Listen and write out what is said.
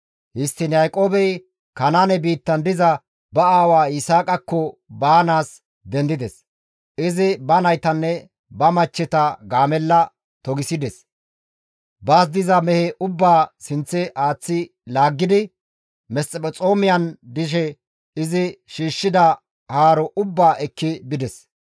Histtiin Yaaqoobey Kanaane biittan diza ba aawa Yisaaqakko baanaas dendides; izi ba naytanne ba machcheta gaamella togisides; baas diza mehe ubbaa sinththe aaththi laaggidi Mesphexoomiyan dishe izi shiishshida haaro ubbaa ekki bides.